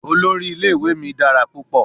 Olori ile-iwe mi dara pupọ